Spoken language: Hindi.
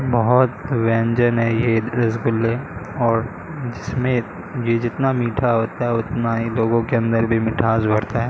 बहोत व्यंजन है ये रसगुल्ले और जिसमें ये जितना मीठा होता है उतना ही लोगो के अंदर भी मिठास भरता है।